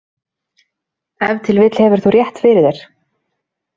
Ef til vill hefur þú rétt fyrir þér.